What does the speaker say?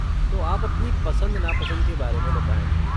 तो आप अपनी पसंद नापसंद के बारे में बताएँ।